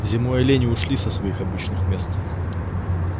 зимой олени ушли со своих обычных мест